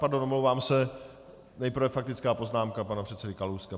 Pardon, omlouvám se, nejprve faktická poznámka pana předsedy Kalouska.